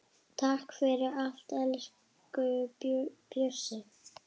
Takk fyrir allt, elsku Bjössi.